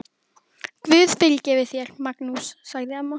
Guð fyrirgefi þér, Magnús, sagði amma.